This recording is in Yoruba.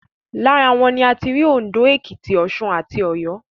Lára wọn ni a ti rí Òndó, Èkìtì, Ọ̀ṣun, Ọ̀yọ́